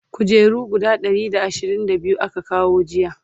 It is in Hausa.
kujeru guda Ɗari da ashirin da biyu aka kawo jiya